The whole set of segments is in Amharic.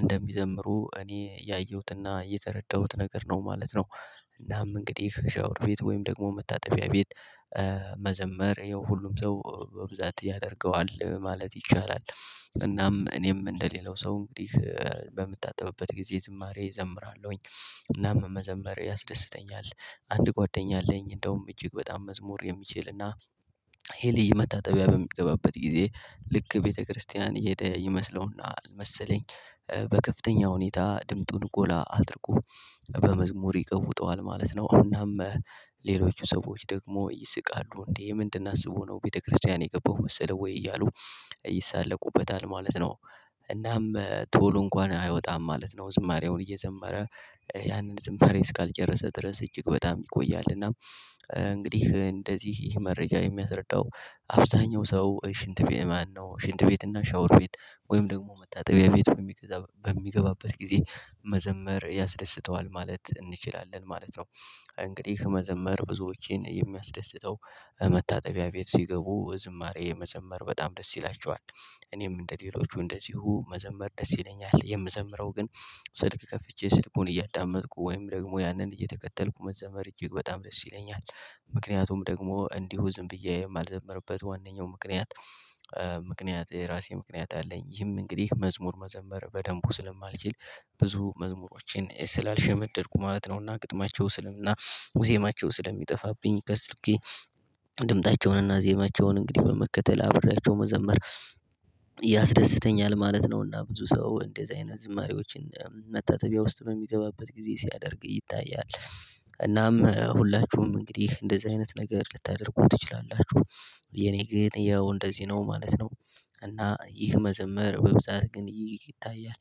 እንደሚዘምሩ እኔ ያየሁትና የተረዳሁት ነገር ነው ማለት ነው። እናም እንግዲህ ሻወር ቤት ወይም ደግሞ መታጠቢያ ቤት። መዘመር ይኸው ሁሉም ሰው በብዛት ያደርገዋል ማለት ይቻላል። እናም እኔም እንደሌላው ሰው እንግዲህ በምታጠብበት ጊዜ ዝማሬ እዘምራለሁኝ። እናም መዘምር ያስደስተኛል። አንድ ጓደኛ አለኝ እንደውም እጅግ በጣም መዝሙር የሚችልና ሄሊ መታጠቢያ በሚገባበት ጊዜ ልክ ቤተክርስቲያን እሄደ ይመስለውና መሰለኝ። በከፍተኛ ሁኔታ ድምጡን ጎላ አድርጎ በመዝሙር ይቀውጠዋል ማለት ነው። እናም ሌሎቹ ሰዎች ደግሞ ይስቃሉ እንዴ? ምንድን አስቦ ነው ቤተክርስቲያን የገባው መሰለው ወይ እያሉ? ይሳለቁበታል ማለት ነው። እናም ቶሎ እንኳን አይወጣም ማለት ነው ዝማሬውን እየዘመረ ያንን ዝማሬ እስካልጨረሰ ድረስ እጅግ በጣም ይቆያል እና። እንግዲህ እንደዚህ ይህ መረጃ የሚያስረዳው አብዛኛው ሰው ሽንት ቤት ማነው ሽንት ቤት እና ሻወር ቤት ወይም ደግሞ መታጠቢያ ቤት በሚገባበት ጊዜ መዘመር ያስደስተዋል ማለት እንችላለን ማለት ነው። እንግዲህ መዘመር ብዙዎችን የሚያስደስተው መታጠቢያ ቤት ሲገቡ ዝማሬ የመዘመር በጣም ደስ ይላቸዋል። እኔም እንደሌሎቹ እንደዚሁ መዘመር ደስ ይለኛል የምዘምረው ግን። ስልክ ከፍቼ ስልኩን እያዳመጥኩ ወይም ደግሞ ያንን እየተከተልኩ መዘመር እጅግ በጣም ደስ ይለኛል። ምክንያቱም ደግሞ እንዲሁ ዝም ብዬ የማልዘመርበት ዋነኛው ምክንያት። ምክንያት የራሴ ምክንያት አለኝ ይህም እንግዲህ መዝሙር መዘመር በደንቡ ስለማልችል ብዙ መዝሙሮችን ስላልሸመደድኩ ማለት ነውና ግጥማቸው ስልም እና። ዜማቸው ስለሚጠፋብኝ ከስልኬ ድምጣቸውንና ዜማቸውን እንግዲህ በመከተል አብሬያቸው መዘመር ያስደስተኛል ማለት ነው። እና ብዙ ሰው እንደዚህ አይነት ዝማሬዎችን መታጠቢያ ውስጥ በሚገባበት ጊዜ ሲያደርግ ይታያል። እናም ሁላችሁም እንግዲህ እንደዚህ አይነት ነገር ልታደርጉ ትችላላችሁ። የኔ ጊዜ ያው እንደዚህ ነው ማለት ነው። እና ይህ መዘመር በብዛት ግን ይህ ይታያል።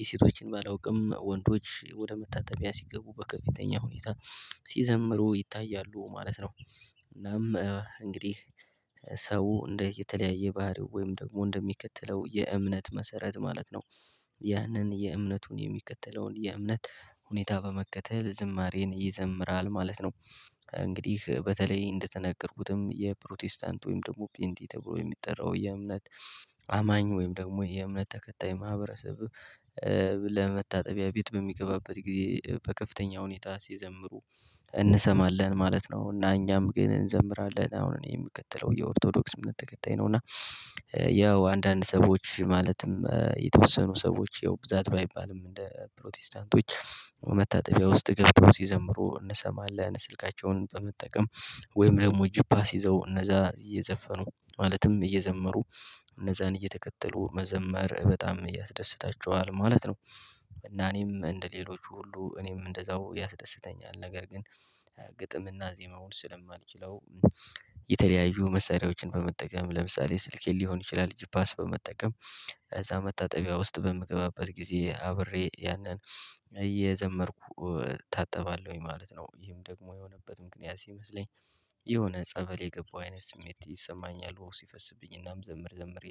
የሴቶችን ባላውቅም ወንዶች ወደ መታጠቢያ ሲገቡ በከፍተኛ ሁኔታ ሲዘምሩ ይታያሉ ማለት ነው። እናም እንግዲህ ሰው እንደ የተለያየ ባህሪው ወይም ደግሞ እንደሚከተለው የእምነት መሰረት ማለት ነው። ያንን የእምነቱን የሚከተለውን የእምነት ሁኔታ በመከተል ዝማሬን ይዘምራል ማለት ነው እንግዲህ በተለይ እንደተናገርኩትም የፕሮቴስታንት ወይም ደግሞ ፔንጤ ተብሎ የሚጠራው የእምነት አማኝ ወይም ደግሞ የእምነት ተከታይ ማህበረሰብ። ለመታጠቢያ ቤት በሚገባበት ጊዜ በከፍተኛ ሁኔታ ሲዘምሩ እንሰማለን ማለት ነው። እና እኛም ግን እንዘምራለን አሁን እኔ የምከተለው የኦርቶዶክስ ምንም ተከታይ ነው እና። ያው አንዳንድ ሰዎች ማለትም የተወሰኑ ሰዎች ያው ብዛት ባይባልም እንደ ፕሮቴስታንቶች። መታጠቢያ ውስጥ ገብቶ ሲዘምሩ እንሰማለን ስልካቸውን በመጠቀም። ወይም ደግሞ ጂፓስ ይዘው እነዛ እየዘፈኑ ማለትም እየዘመሩ። እነዛን እየተከተሉ መዘመር በጣም እያስደስታቸዋል ማለት ነው። እና እኔም እንደሌሎቹ ሁሉ እኔም እንደዛው ያስደስተኛል ነገር ግን። ግጥምና ዜማውን ስለማልችለው። የተለያዩ መሳሪያዎችን በመጠቀም ለምሳሌ ስልኬን ሊሆን ይችላል ጅፓስ በመጠቀም እዛ መታጠቢያ ውስጥ በምገባበት ጊዜ አብሬ ያንን እየዘመርኩ እታጠባለሁኝ ማለት ነው። ይሄም ደግሞ የሆነበት ምክንያት ሲመስለኝ። የሆነ ጸበል የገባው አይነት ስሜት ይሰማኛል ውሃው ሲፈስብኝ እናም ዘምር ዘምር ይለኛል